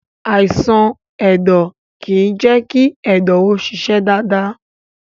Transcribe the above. Àìsàn ẹ̀dọ̀ kìí jẹ́ kí ẹ̀dọ̀ ó ṣiṣẹ́ dáadáa.